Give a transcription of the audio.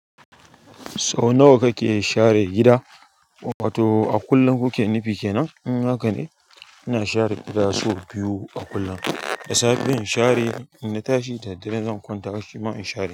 Sau nawa kake share gida? Wato a kullum kuke nufi kenan? In haka ne, ina share gida sau biyu a kullum. Da safe in share, in na tashi da dare zan kwanta bacci ba in share.